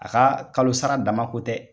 A ka kalosa dama ko tɛ